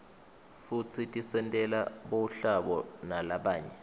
futsi tisentela buhlabo nalabanye